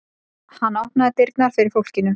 Hann opnaði dyrnar fyrir fólkinu.